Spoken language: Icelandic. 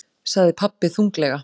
sagði pabbi þunglega.